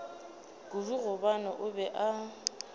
kudu gobane o be a